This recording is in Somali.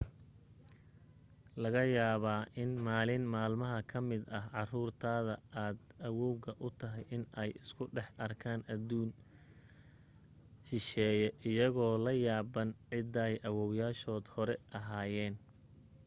laga yaabee in maalin maalmaha ka mid ah caruurta aad awoowga u tahay in ay isku dhex arki karaanadduun shisheeye iyagoo la yaabban cidday awowayaashood hore ahaayeen